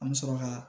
An bɛ sɔrɔ ka